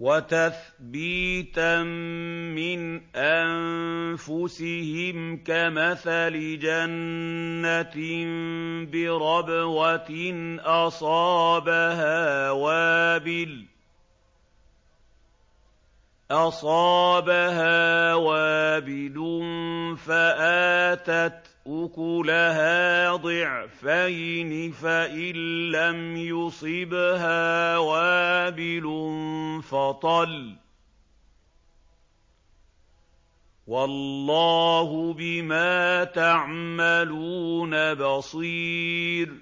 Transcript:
وَتَثْبِيتًا مِّنْ أَنفُسِهِمْ كَمَثَلِ جَنَّةٍ بِرَبْوَةٍ أَصَابَهَا وَابِلٌ فَآتَتْ أُكُلَهَا ضِعْفَيْنِ فَإِن لَّمْ يُصِبْهَا وَابِلٌ فَطَلٌّ ۗ وَاللَّهُ بِمَا تَعْمَلُونَ بَصِيرٌ